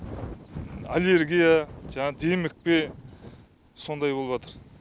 аллергия демікпе сондай болыватыр